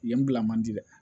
Yen bila man di dɛ